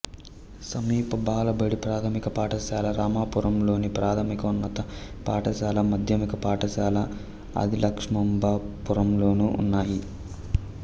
సమీప బాలబడి ప్రాథమిక పాఠశాల రామాపురంలోను ప్రాథమికోన్నత పాఠశాల మాధ్యమిక పాఠశాల ఆదిలక్ష్మాంబ పురం లోనూ ఉన్నాయి